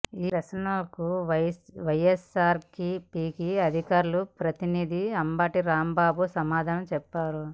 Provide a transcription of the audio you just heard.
ఈ ప్రశ్నలకు వైఎస్సార్సీపీ అధికార ప్రతినిధి అంబటి రాంబాబు సమాధానం చెప్పారు